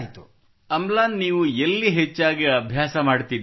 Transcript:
ಅಮ್ಲಾನ್ ನೀವು ಎಲ್ಲಿ ಹೆಚ್ಚಾಗಿ ಅಭ್ಯಾಸ ಮಾಡುತ್ತಿದ್ದೀರಿ